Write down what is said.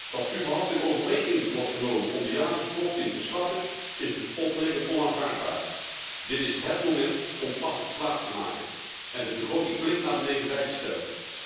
Dat überhaupt in overweging wordt genomen om de jaarlijkse korting te schrappen is bespottelijk en onaanvaardbaar. Dit is hét moment om pas op de plaats te maken en de begroting flink naar beneden bij te stellen.